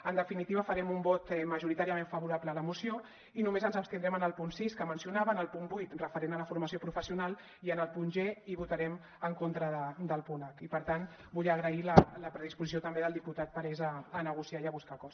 en definitiva farem un vot majoritàriament favorable a la moció i només ens abstindrem en el punt sis que mencionava en el punt vuit referent a la formació professional i en el punt g i votarem en contra del punt hper tant vull agrair la predisposició també del diputat parés a negociar i a buscar acords